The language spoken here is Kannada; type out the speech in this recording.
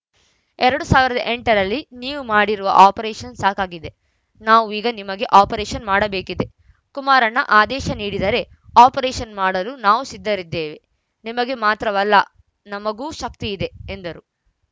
ಎರಡ್ ಸಾವಿರದ ಎಂಟ ರಲ್ಲಿ ನೀವು ಮಾಡಿರುವ ಆಪರೇಷನ್‌ ಸಾಕಾಗಿದೆ ನಾವು ಈಗ ನಿಮಗೆ ಆಪರೇಷನ್‌ ಮಾಡಬೇಕಿದೆ ಕುಮಾರಣ್ಣ ಆದೇಶ ನೀಡಿದರೆ ಆಪರೇಷನ್‌ ಮಾಡಲು ನಾವು ಸಿದ್ಧರಿದ್ದೇವೆ ನಿಮಗೆ ಮಾತ್ರವಲ್ಲ ನಮಗೂ ಶಕ್ತಿ ಇದೆ ಎಂದರು